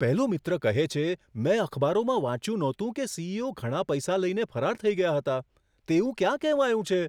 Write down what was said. પહેલો મિત્ર કહે છે, મેં અખબારોમાં વાંચ્યું ન હતું કે સી.ઇ.ઓ. ઘણા પૈસા લઈને ફરાર થઈ ગયા હતા. તેવું ક્યાં કહેવાયું છે?